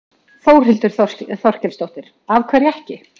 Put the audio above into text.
Þórhildur Þorkelsdóttir: Af hverju ekki?